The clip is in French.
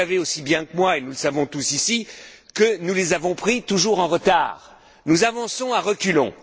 Vous savez aussi bien que moi, et nous le savons tous ici, que nous les avons prises toujours en retard. Nous avançons à reculons.